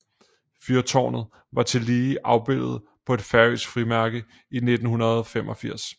Fyrtårnet var tillige afbildet på et færøsk frimærke i 1985